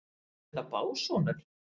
Eru þetta básúnur?